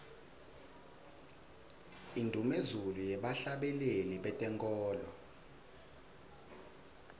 indumezulu yebahhlabeleli betenkholo